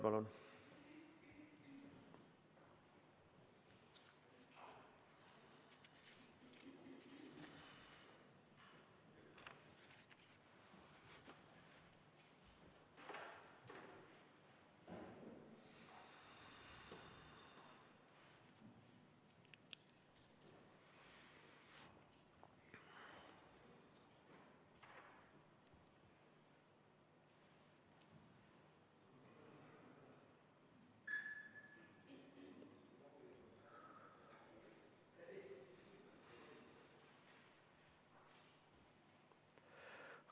Palun!